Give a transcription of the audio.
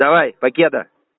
давай покеда